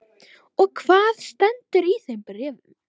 Og hvað stendur í þeim bréfum?